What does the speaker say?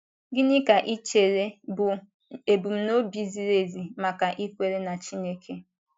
Gịnị ka i chere bụ́ ebumnobi ziri ezi maka ikwere na Chineke?